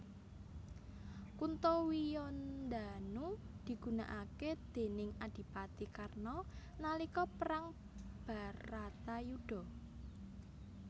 Kuntawijandanu digunakake déning adipati Karna nalika perang Bharatayudha